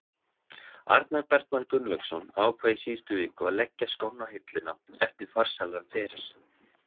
Arnar Bergmann Gunnlaugsson ákvað í síðustu viku að leggja skóna á hilluna eftir farsælan feril.